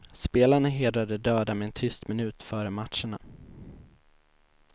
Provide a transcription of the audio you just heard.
Spelarna hedrar de döda med en tyst minut före matcherna.